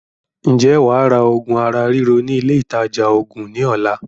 Ǹjẹ́ wàá ra oògùn ara ríro ní ilé ìtaja oògùn ní ọ̀la?